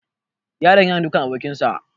The boy is beating his friend